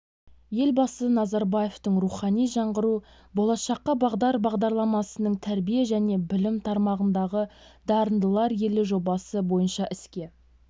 елбасы назарбаевтың рухани жаңғыру болашаққа бағдар бағдарламасының тәрбие және білім тармағындағы дарындылар елі жобасы бойынша іске